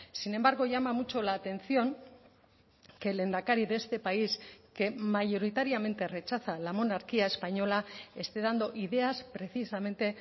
sin embargo llama mucho la atención que el lehendakari de este país que mayoritariamente rechaza la monarquía española esté dando ideas precisamente